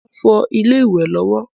Mo ń fọ ilé ìwẹ̀ lọ́wọ́